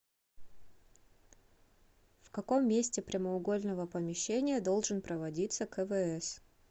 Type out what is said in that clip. в каком месте прямоугольного помещения должен проводиться квс